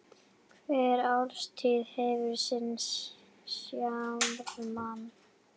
Hver árstíð hefur sinn sjarma.